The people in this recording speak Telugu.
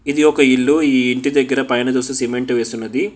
ఇది ఒక ఇల్లు ఈ ఇంటి దగ్గర పైన చూస్తే సిమెంట్ వేసి ఉన్నది.